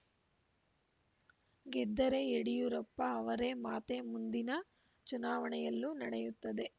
ಗೆದ್ದರೆ ಯಡಿಯೂರಪ್ಪ ಅವರೇ ಮಾತೇ ಮುಂದಿನ ಚುನಾವಣೆಯಲ್ಲೂ ನಡೆಯುತ್ತದೆ